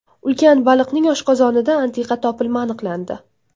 Ulkan baliqning oshqozonida antiqa topilma aniqlandi .